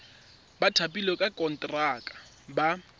ba thapilweng ka konteraka ba